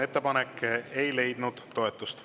Ettepanek ei leidnud toetust.